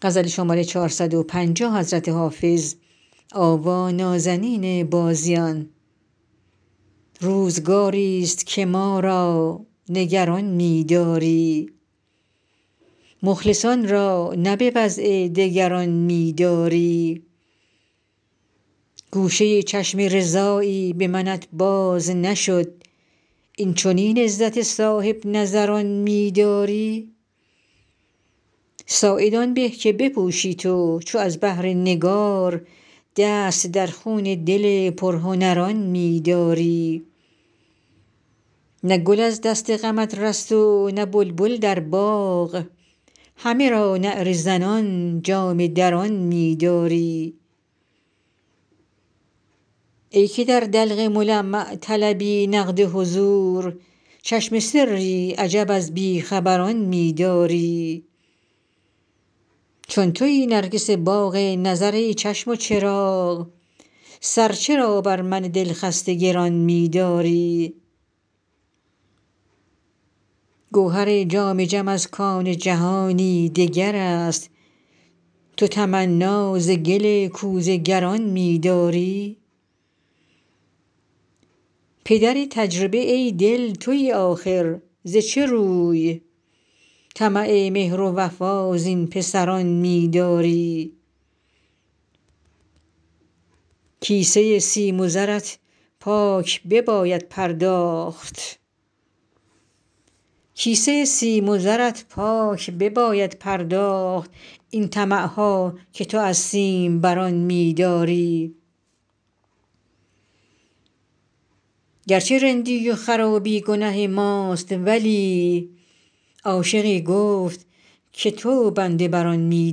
روزگاری ست که ما را نگران می داری مخلصان را نه به وضع دگران می داری گوشه چشم رضایی به منت باز نشد این چنین عزت صاحب نظران می داری ساعد آن به که بپوشی تو چو از بهر نگار دست در خون دل پرهنران می داری نه گل از دست غمت رست و نه بلبل در باغ همه را نعره زنان جامه دران می داری ای که در دلق ملمع طلبی نقد حضور چشم سری عجب از بی خبران می داری چون تویی نرگس باغ نظر ای چشم و چراغ سر چرا بر من دل خسته گران می داری گوهر جام جم از کان جهانی دگر است تو تمنا ز گل کوزه گران می داری پدر تجربه ای دل تویی آخر ز چه روی طمع مهر و وفا زین پسران می داری کیسه سیم و زرت پاک بباید پرداخت این طمع ها که تو از سیم بران می داری گر چه رندی و خرابی گنه ماست ولی عاشقی گفت که تو بنده بر آن می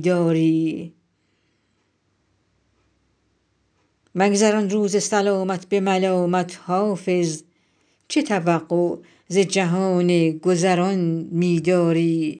داری مگذران روز سلامت به ملامت حافظ چه توقع ز جهان گذران می داری